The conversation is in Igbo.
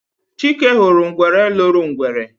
Chike huru ngwere loro ngwere.